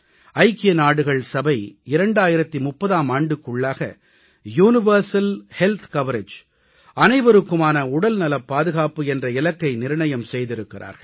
ஐக்கிய நாடுகள் சபை 2030ஆம் ஆண்டுக்குள்ளாக யூனிவர்சல் ஹெல்த் கவரேஜ் அனைவருக்குமான உடல்நலப் பாதுகாப்பு என்ற இலக்கை நிர்ணயம் செய்திருக்கிறார்கள்